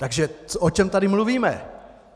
Takže o čem tady mluvíme?